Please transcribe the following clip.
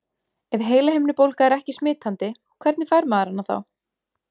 Ef heilahimnubólga er ekki smitandi, hvernig fær maður hana þá?